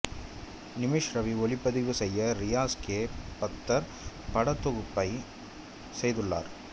நிமிஷ் ரவி ஒளிப்பதிவு செய்ய ரியாஸ் கே பத்தர் படத்தொகுப்பை செய்துள்ளார்